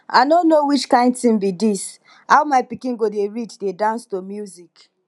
i no know which kin thing be dis how my pikin go dey read dey dance to music